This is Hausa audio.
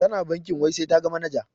Tana bankin wai sai taga manaja.